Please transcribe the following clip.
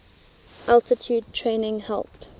altitude training helped